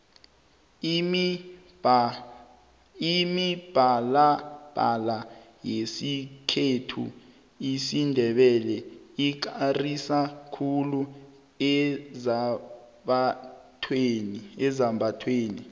imibalabala yesikhethu isindebele ikarisa khulu ezambathweni